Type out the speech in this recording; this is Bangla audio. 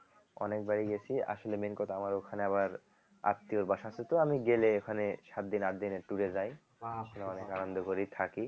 অনেকবারই গেছি আসলে main কথা আমার ওখানে আবার আত্মীয়র বাসা আছে তো আমি গেলে ওখানে সাত দিন আট দিন এর tour এ যাই অনেক আনন্দ করি থাকি